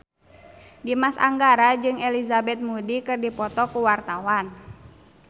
Dimas Anggara jeung Elizabeth Moody keur dipoto ku wartawan